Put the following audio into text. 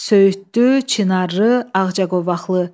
Söyüddü, çinarlı, ağcaqovaqlı.